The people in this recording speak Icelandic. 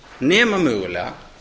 nema mögulega